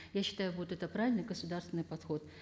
я считаю будет это правильный государственный подход